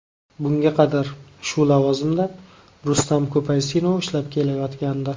Bunga qadar shu lavozimda Rustam Ko‘paysinov ishlab kelayotgandi.